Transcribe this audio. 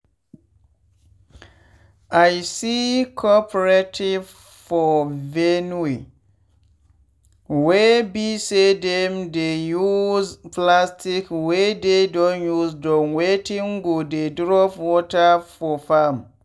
i see coperative for benue wey be say dem dey use plastic wey dey don use do wetin go dey drop water for farm.